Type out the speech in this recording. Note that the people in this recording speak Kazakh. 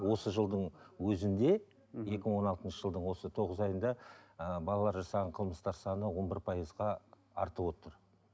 осы жылдың өзінде мхм екі мың он алтыншы жылдың осы тоғыз айында ыыы балалар жасаған қылмыстар саны он бір пайызға артып отыр